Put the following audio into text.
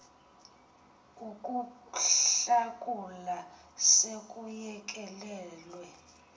ukuhlakula se kuyekelelwe